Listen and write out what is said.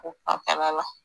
O fanfɛla la.